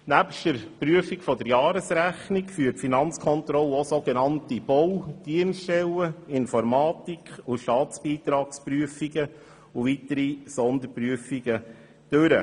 Nebst der Prüfung der Jahresrechnung führt die Finanzkontrolle auch so genannte Bau-, Dienststellen-, Informatik- und Staatsbeitragsprüfungen sowie weitere Sonderprüfungen durch.